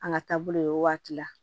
An ka taabolo ye o waati la